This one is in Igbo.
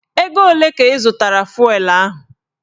Ego olee ka ị zụtara fụelụ ahụ?